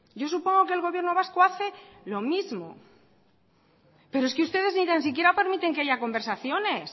yo supongo que el gobierno vasco hace lo mismo pero es que ustedes ni tan siquiera permiten que haya conversaciones